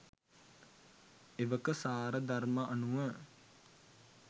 එවක සාරධර්ම අනුව